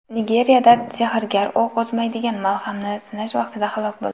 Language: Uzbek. Nigeriyada sehrgar o‘q o‘tkazmaydigan malhamni sinash vaqtida halok bo‘ldi.